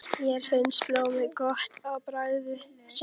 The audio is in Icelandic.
Þér finnst blóð gott á bragðið segir hann.